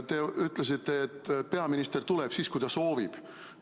Te ütlesite, et peaminister tuleb siis, kui ta soovib.